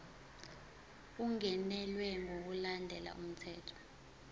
ungenelwe ngokulandela umthetho